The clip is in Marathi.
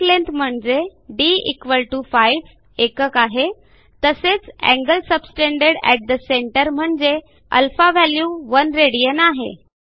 एआरसी लेंग्थ म्हणजे d5 एकक आहे तसेच angle subtended at the centre म्हणजेच α व्हॅल्यू 1 राड आहे